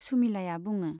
सुमिलाया बुङो।